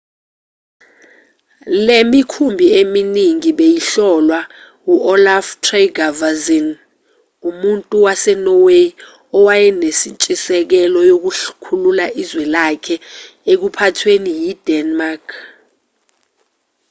le mikhumbi eminingi beyiholwa u-olaf trygvasson umuntu wasenorway owayenentshisekelo yokukhulula izwe lakhe ekuphathweni yi-denmark